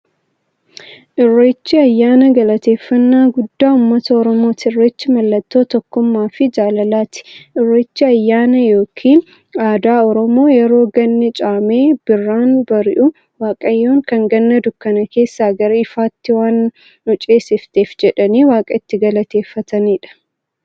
Irreechi ayyaana galateeffnnaa guddaa ummata oromooti. Irreechi mallattoo tokkummaafi jaalalaati. Irreechi ayyaana yookiin aadaa Oromoo yeroo ganni caamee birraan bari'u, waaqayyoon kan Ganna dukkana keessaa gara ifaatti waan nu ceesifteef jedhanii waaqa itti galateeffataniidha.